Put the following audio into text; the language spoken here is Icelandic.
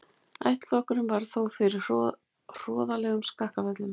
Ættflokkurinn varð þó fyrir hroðalegum skakkaföllum.